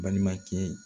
Balimakɛ